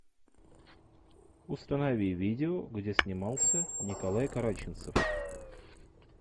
установи видео где снимался николай караченцев